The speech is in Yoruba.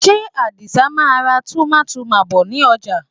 Ṣé Àdìsa máa ra tummytummy bọ̀ ní ọjà?